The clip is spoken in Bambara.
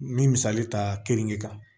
N bɛ misali ta keninge kan